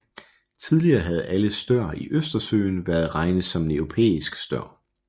Tidligere havde alle stør i Østersøen været regnet som europæisk stør